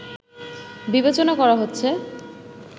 বিবেচনা করা হচ্ছে